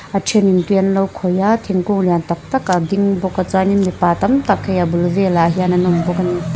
a thenin tui an lo khawih a thingkung lian tak tak a ding bawk a chuanin mipa tam tak hei a bul velah hian an ding bawk a ni.